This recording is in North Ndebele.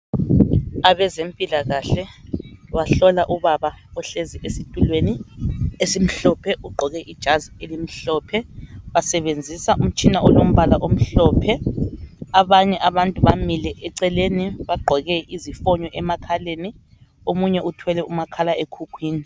Abezempilakahle bahlola ubaba ohlezi esitulweni esimhlophe, ugqoke ijazi elimhlophe. Basebenzisa umtshina olombala omhlophe. Abanye abantu bamile eceleni bagqoke izifonyo emakhaleni, omunye uthwele umakhalekhukhwini.